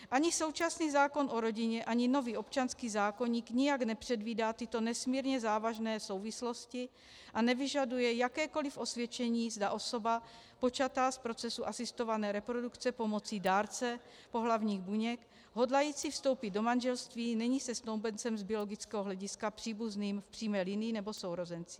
Ani současný zákon o rodině, ani nový občanský zákoník nijak nepředvídá tyto nesmírně závažné souvislosti a nevyžaduje jakékoliv osvědčení, zda osoba počatá z procesu asistované reprodukce pomocí dárce pohlavních buněk hodlající vstoupit do manželství není se snoubencem z biologického hlediska příbuzným v přímé linii nebo sourozenci.